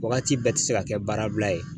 Wagati bɛɛ ti se ka kɛ baarabila ye.